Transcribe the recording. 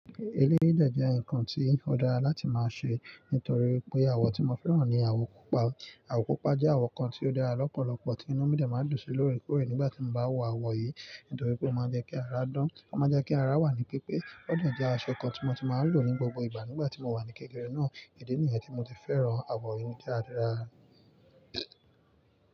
Eléyìí dẹ́ nǹkan tí ó dára láti máa ṣe nítorí pé àwọ̀ tí mo fẹ́ràn ni àwọ̀ pupa. Àwọ̀ pupa jẹ́ àwọ̀ kan tí ó dára lọ́pọ̀lọpọ̀, tí inú mi dà máa ń dùn sí lóòrèkóòrè nígbà tí mo bá wọ àwọ̀ yìí, nítorí pé ó máa ń jẹ́ kí ara dán, ó máa jẹ́ kí ara wà ní pípé. Ó dà jẹ́ aṣọ kan tí mo ti máa ń lò ní gbogbo ìgbà nígbà tí mo wà ní kékeré náà, idi nìyẹn tí mo ti fẹ́ràn àwọ̀ yìí tí ó dára.